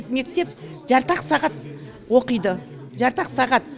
мектеп жарты ақ сағат оқиды жарты ақ сағат